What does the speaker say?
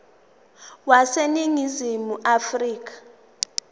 wase ningizimu afrika